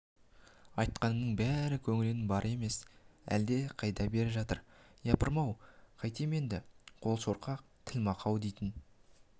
айтқанының бәрі көңілінің бары емес әлде қайда бері жатыр япырмау қайтем енді қол шорқақ тіл мақау дейтін